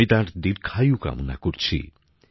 আমি তাঁর দীর্ঘায়ু কামনা করছি